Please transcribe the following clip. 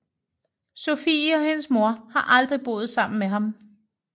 Sofie og hendes mor har aldrig boet sammen med ham